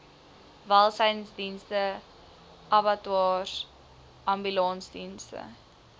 welsynsdienste abattoirs ambulansdienste